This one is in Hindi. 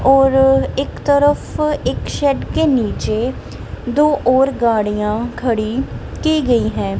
और एक तरफ एक शेड के नीचे दो और गाड़ियां खड़ी की गई है।